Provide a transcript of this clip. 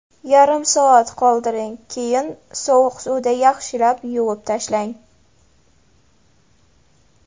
Yarim soat qoldiring, keyin sovuq suvda yaxshilab yuvib tashlang.